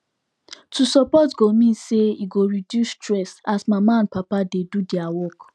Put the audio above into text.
to support go mean say e go reduce stress as mama and papa dey do their work